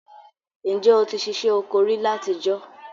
N je o ti sisẹ́ oko ri látijọ́?